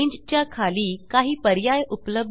च्या खाली काही पर्याय उपलब्ध आहेत